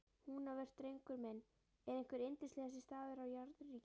Húnaver, drengur minn, er einhver yndislegasti staður á jarðríki.